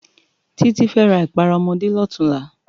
Titi fè rá ipàrá òmòdé lòtúnlá